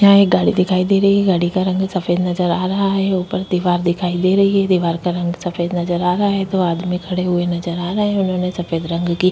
यहाँ एक गाड़ी दिखाई दे रही है गाड़ी का रंग सफ़ेद नज़र आ रहा है ऊपर दीवार दिखाई दे रही है दीवार का रंग सफ़ेद नज़र आ रहा है दो आदमी खड़े हुए नज़र आ रहे है उन्होंने सफ़ेद रंग--